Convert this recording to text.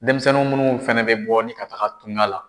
Denmisɛnnin munnu fɛnɛ bɛ bɔ ni ka taga tungan la.